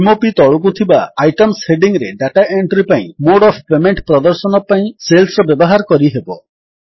m o P ତଳକୁ ଥିବା items heading ରେ ଡାଟା ଏଣ୍ଟ୍ରୀ ପାଇଁ ମୋଡ୍ ଅଫ୍ ପେମେଣ୍ଟ ପ୍ରଦର୍ଶନ ପାଇଁ ସେଲ୍ସର ବ୍ୟବହାର କରିହେବ